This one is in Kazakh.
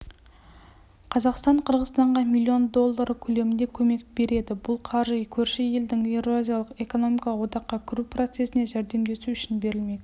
қазақстан қырғызстанға миллион доллары көлемінде көмек береді бұл қаржы көрші елдің еуразиялық экономикалық одаққа кіру процесіне жәрдемдесу үшін берілмек